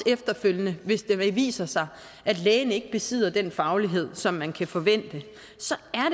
efterfølgende hvis det viser sig at lægen ikke besidder den faglighed som man kan forvente så